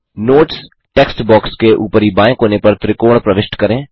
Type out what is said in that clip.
notes text box के ऊपरी बाएँ कोने पर त्रिकोण प्रविष्ट करें